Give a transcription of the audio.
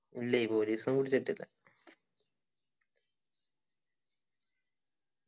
ഇല്ലേയ് police ഒന്നും പിടിച്ചിട്ടില്ല